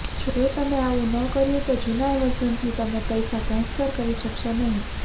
જો તમે આવું ન કર્યુ તો જૂના વર્ઝનથી તમે પૈસા ટ્રાંસફર કરી શક્શો નહી